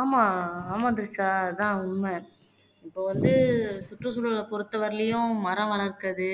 ஆமா ஆமா திரிஷா அதான் உண்மை இப்ப வந்து சுற்றுச்சூழல பொறுத்தவரையிலும் மரம் வளர்ப்பது